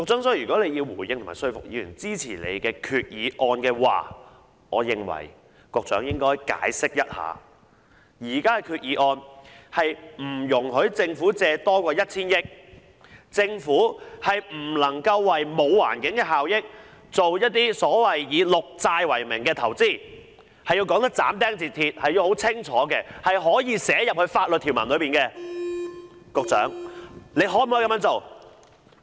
所以，如果局長要回應和說服議員支持他的決議案，我認為局長應該解釋現時決議案是不容許政府借款超過 1,000 億元，而且政府不能為沒有環境效益的工程發綠債融資，要斬釘截鐵地說清楚，是可以寫入法律條文的，局長可否這樣做？